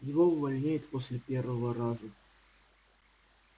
его увольняют после первого раза